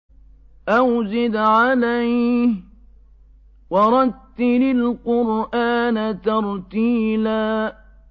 أَوْ زِدْ عَلَيْهِ وَرَتِّلِ الْقُرْآنَ تَرْتِيلًا